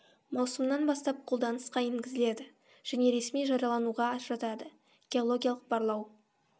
маусымнан бастап қолданысқа енгізіледі және ресми жариялануға жатады геологиялық барлау